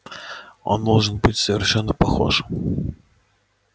он должен быть совершенно похож